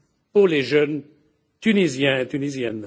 pour les jeunes tunisiennes et tunisiens.